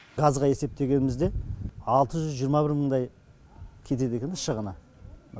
газға есептегенімізде алты жүз жиырма бір мыңдай кетеді екен шығыны